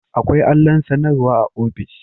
Akwai allon sanarwa a office